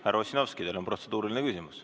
Härra Ossinovskil on protseduuriline küsimus.